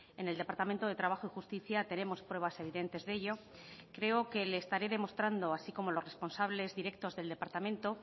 en el departamento de trabajo y justicia tenemos pruebas evidentes de ello creo que le estaré demostrando así como los responsables directos del departamento